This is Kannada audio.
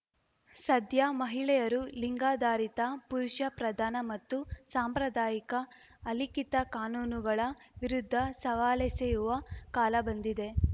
ಸದ್ಯ ಮಹಿಳೆಯರು ಲಿಂಗಾಧಾರಿತ ಪುರುಷ ಪ್ರಧಾನ ಮತ್ತು ಸಾಂಪ್ರದಾಯಿಕ ಅಲಿಖಿತ ಕಾನೂನುಗಳ ವಿರುದ್ಧ ಸವಾಲೆಸೆಯುವ ಕಾಲ ಬಂದಿದೆ